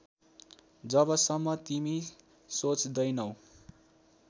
जबसम्म तिमी सोच्दैनौ